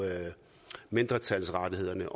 mindretalsrettighederne